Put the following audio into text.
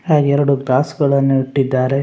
ಹಾಗೆ ಎರಡು ಗ್ಲಾಸ್‌ ಗಳನ್ನು ಇಟ್ಟಿದ್ದಾರೆ.